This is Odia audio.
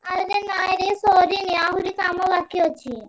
ଆରେ ନାଇଁରେ ସରିନି ଆହୁରି କାମ ବାକି ଅଛି।